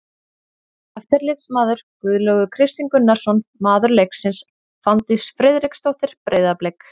Eftirlitsmaður: Guðlaugur Kristinn Gunnarsson Maður leiksins: Fanndís Friðriksdóttir, Breiðablik.